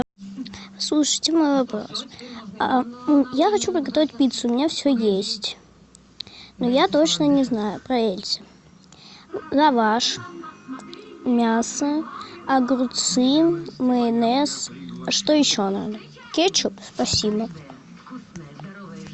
слушайте мой вопрос я хочу приготовить пиццу у меня все есть но я точно не знаю проверьте лаваш мясо огурцы майонез что еще надо кетчуп спасибо